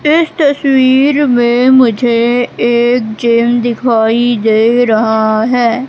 इस तस्वीर में मुझे एक चैन दिखाई दे रहा है।